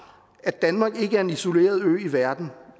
at danmark ikke er en isoleret ø i verden